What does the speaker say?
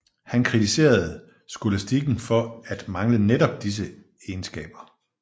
Han kritiserede skolastikken for at mangle netop disse egenskaber